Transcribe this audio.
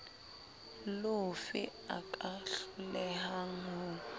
lofe a ka hlolehang ho